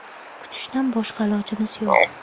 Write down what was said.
Kutishdan boshqa ilojimiz yo‘q.